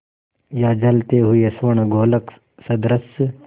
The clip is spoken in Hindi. या जलते हुए स्वर्णगोलक सदृश